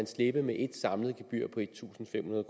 slippe med et samlet gebyr på en tusind fem hundrede